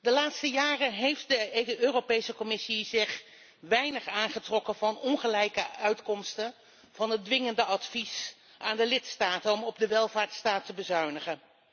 De laatste jaren heeft de Europese Commissie zich weinig aangetrokken van de ongelijke resultaten van het dwingende advies aan de lidstaten om op de welvaartsstaat te bezuinigen.